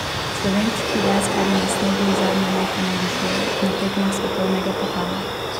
Slovenski deskarji na snegu zadnja leta navdušujejo na tekmah svetovnega pokala.